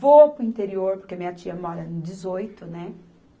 Vou para o interior, porque minha tia mora no dezoito, né?